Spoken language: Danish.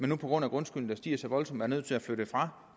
nu på grund af grundskylden der stiger så voldsomt er nødt til at flytte fra